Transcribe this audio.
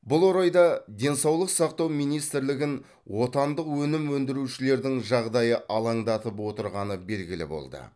бұл орайда денсаулық сақтау министрлігін отандық өнім өндірушілердің жағдайы алаңдатып отырғаны белгілі болды